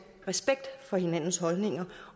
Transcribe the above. respekt for hinandens holdninger